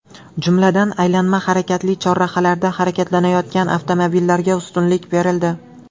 Jumladan, aylanma harakatli chorrahalarda harakatlanayotgan avtomobillarga ustunlik berildi.